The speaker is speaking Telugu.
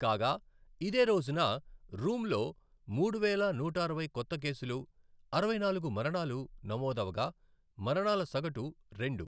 కాగా, ఇదేరోజున రూంలో మూడు వేల నూట అరవై కొత్త కేసులు, అరవై నాలుగు మరణాలు నమోదవగా మరణాల సగటు రెండు.